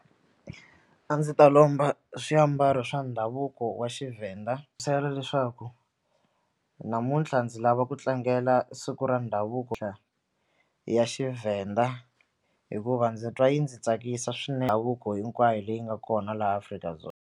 A ndzi ta lomba swiambalo swa ndhavuko wa Xivenda leswaku namuntlha ndzi lava ku tlangela siku ra ndhavuko ya Xivenda hikuva ndzi twa yi ndzi tsakisa davuko hinkwayo leyi nga kona laha Afrika-Dzonga.